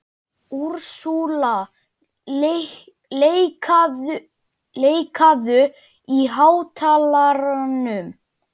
Úrsúla, lækkaðu í hátalaranum.